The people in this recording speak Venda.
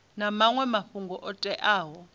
na maṅwe mafhungo o teaho